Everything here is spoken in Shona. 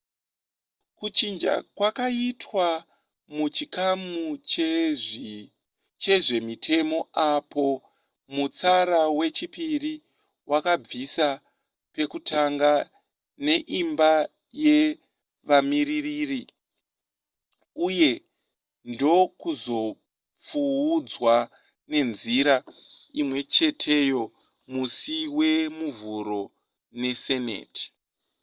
kuchinja kwakaitwa muchikamu chezvemitemo apo mutsara wechipiri wakabviswa pekutanga neimba yevamiririri uye ndokuzopfuudzwa nenzira imwecheteyo musi wemuvhuro neseneti